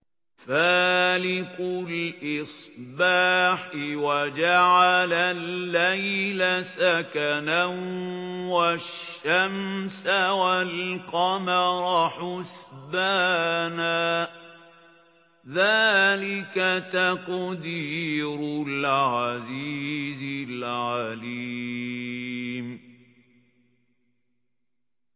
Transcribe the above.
فَالِقُ الْإِصْبَاحِ وَجَعَلَ اللَّيْلَ سَكَنًا وَالشَّمْسَ وَالْقَمَرَ حُسْبَانًا ۚ ذَٰلِكَ تَقْدِيرُ الْعَزِيزِ الْعَلِيمِ